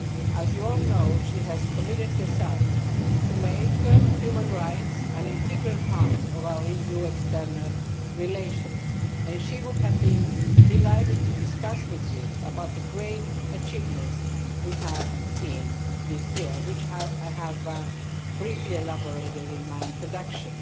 As you all know, she has committed herself to making human rights an integral part of our EU external relations and she would have been delighted to discuss with you the great achievements we have seen this year, which I have briefly elaborated on in my introduction.